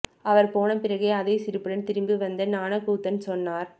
அவர் போன பிறகு அதே சிரிப்புடன் திரும்ப வந்த ஞானக்கூத்தன் சொன்னார்